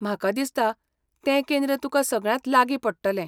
म्हाका दिसता तें केंद्र तुका सगळ्यांत लागीं पडटलें.